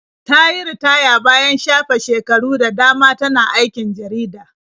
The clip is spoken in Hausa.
Ta yi ritaya bayan shafe shekaru da dama tana aikin jarida.